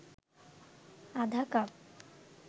আধা কাপ